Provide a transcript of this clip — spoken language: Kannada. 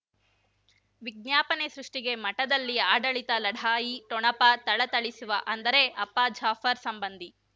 ವಿಜ್ಞಾಪನೆ ಸೃಷ್ಟಿಗೆ ಮಠದಲ್ಲಿ ಆಡಳಿತ ಲಢಾಯಿ ಠೊಣಪ ಥಳಥಳಿಸುವ ಅಂದರೆ ಅಪ್ಪ ಜಾಫರ್ ಸಂಬಂಧಿ